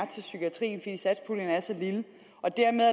til psykiatrien og dermed